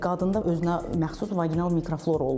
Qadında özünə məxsus vaginal mikroflora olur.